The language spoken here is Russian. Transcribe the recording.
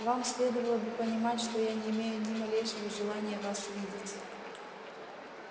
вам следовало бы понимать что я не имею ни малейшего желания вас видеть